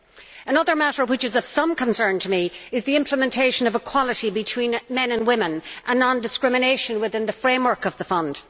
Another matter which is of some concern to me is the implementation of equality between men and women and non discrimination within the framework of the Fund.